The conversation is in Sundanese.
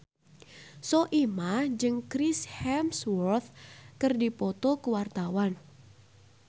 Soimah jeung Chris Hemsworth keur dipoto ku wartawan